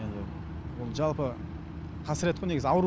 ол жалпы қасірет негізі ауру